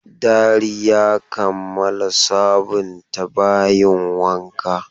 Dari ya kammala sabunta bayin wanka.